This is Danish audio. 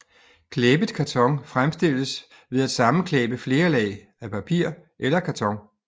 Klæbet karton fremstilles ved at sammenklæbe flere lag af papir eller karton